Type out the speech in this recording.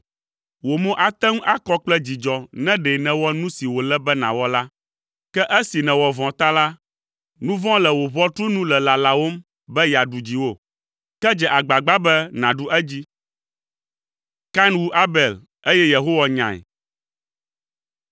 Wò mo ate ŋu akɔ kple dzidzɔ ne ɖe nèwɔ nu si wòle be nàwɔ la! Ke esi nèwɔ vɔ̃ ta la, nu vɔ̃ le wò ʋɔtru nu le lalawòm be yeaɖu dziwò. Ke dze agbagba be nàɖu edzi!”